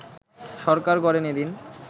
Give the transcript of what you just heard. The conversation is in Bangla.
সরকার গড়েন এদিন